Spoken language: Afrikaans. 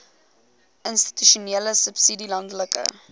institusionele subsidie landelike